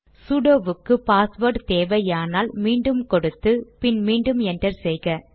sudo வுக்கு password தேவையானால் மீண்டும் கொடுத்து பின் மீண்டும் என்டர் செய்க